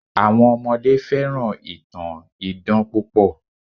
Àwọn ọmọdé fẹ́ràn ìtàn idán púpọ̀